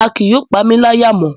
A kii yóò pamilaya mo